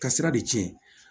Ka sira de cɛn